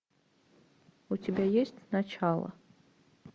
у тебя есть начало